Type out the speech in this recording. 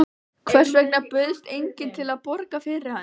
Hvers vegna bauðst enginn til að borga fyrir hann?